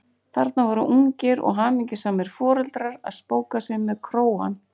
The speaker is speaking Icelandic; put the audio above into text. Þarna voru ungir og hamingjusamir foreldrar að spóka sig með krógann!